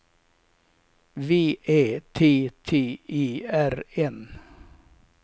V Ä T T E R N